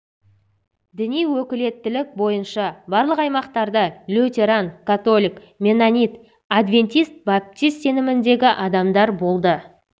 діни өкілеттілік бойынша барлық аймақтарда лютеран католик меннонит адвентист баптист сеніміндегі адамдар болды